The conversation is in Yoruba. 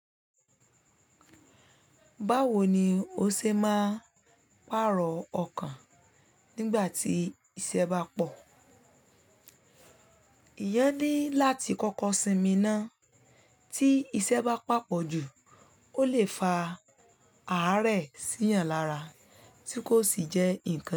Báwo ni o ṣe máa pààrọ̀ ọkàn nígbà tí iṣẹ́ bá pọ̀? Eeyan ni láti kọ́kọ́ sinmi ná. Tí iṣẹ́ bá papọ̀ jù, o lè fa àárẹ̀ síyan lára tí kò sì jẹ́ ǹnkan ìyè.